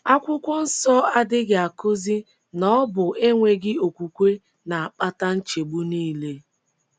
Akwụkwọ nsọ adịghị akụzi na ọ bụ enweghị okwukwe na - akpata nchegbu nile.